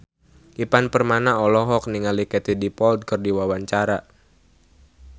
Ivan Permana olohok ningali Katie Dippold keur diwawancara